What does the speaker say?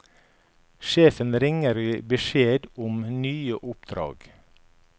Sjefen ringer og gir beskjed om nye oppdrag.